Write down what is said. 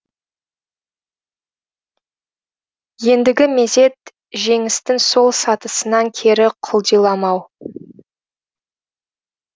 ендігі мезет жеңістің сол сатысынан кері құлдиламау